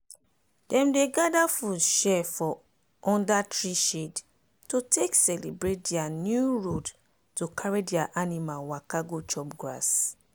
dem dey gather share food for under tree shade to take celebrate dia new road to carry dia animal waka go chop grass.